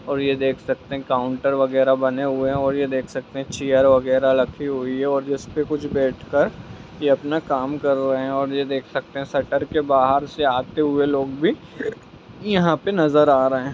और ये देख सकते है काउंटर वगैरा बने हुए है और ये देख सकते है चेयर वगेरा रखी हुई है और जिसपे बैठ कर ये अपना काम कर रहे है और ये देख सकते है शटर के बाहर से आते हुए लोग भी यहां पे नजर आ रहे है।